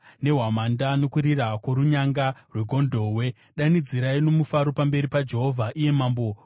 nehwamanda nokurira kworunyanga rwegondobwe, danidzirai nomufaro pamberi paJehovha, iye Mambo.